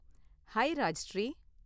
High Rajshri.